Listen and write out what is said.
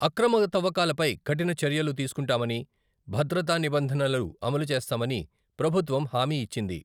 అక్రమ తవ్వకాలపై కఠిన చర్యలు తీసుకుంటామని, భద్రతా నిబంధనలను అమలు చేస్తామని ప్రభుత్వం హామీ ఇచ్చింది.